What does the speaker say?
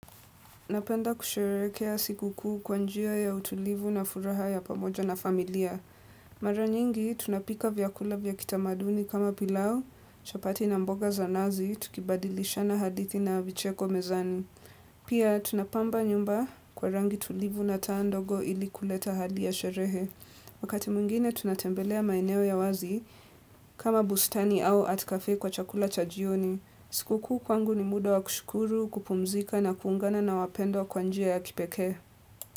Napenda kusherekea sikuku kwanjia ya utulivu na furaha ya pamoja na familia. Mara nyingi, tunapika vyakula vyakita maduni kama pilau, chapati na mboga za nazi, tukibadilisha na hadithi na vicheko mezani. Pia, tunapamba nyumba kwa rangi tulivu na taandogo ili kuleta hadi ya sherehe. Wakati mungine, tunatembelea maineo ya wazi kama bustani au atkafe kwa chakula chajioni. Sikukuu kwangu ni muda wa kushukuru, kupumzika na kuungana na wapendo wa kwanjia ya kipeke.